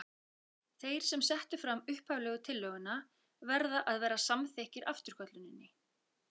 Þeir sem settu fram upphaflegu tillöguna verða að vera samþykkir afturkölluninni.